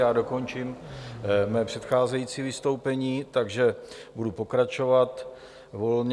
Já dokončím své předcházející vystoupení, takže budu pokračovat volně.